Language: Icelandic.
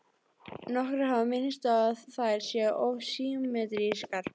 Nokkrir hafa minnst á að þær séu of symmetrískar.